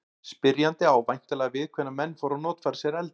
Spyrjandi á væntanlega við hvenær menn fóru að notfæra sér eldinn.